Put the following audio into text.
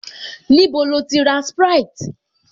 Níbo lo ti ra sprite?